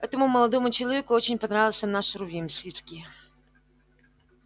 этому молодому человеку очень понравился наш рувим свицкий